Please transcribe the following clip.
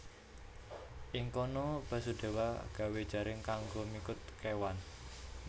Ing kono Basudéwa gawé jaring kanggo mikut kéwan